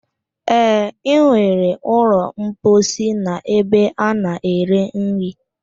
E nwere ụlọ mposi n'ebe ana-ere nri